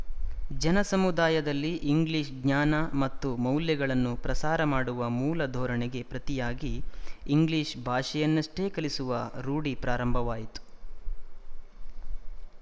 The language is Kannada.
ಜನಸಮುದಾಯದಲ್ಲಿ ಇಂಗ್ಲಿಶ ಜ್ಞಾನ ಮತ್ತು ಮೌಲ್ಯಗಳನ್ನು ಪ್ರಸಾರ ಮಾಡುವ ಮೂಲ ಧೋರಣೆಗೆ ಪ್ರತಿಯಾಗಿ ಇಂಗ್ಲಿಶ ಭಾಷೆಯನ್ನಷ್ಟೇ ಕಲಿಸುವ ರೂಢಿ ಪ್ರಾರಂಭವಾಯಿತು